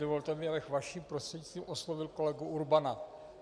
Dovolte mi, abych vaším prostřednictvím oslovil kolegu Urbana.